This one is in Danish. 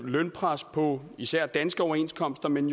lønpres på især danske overenskomster men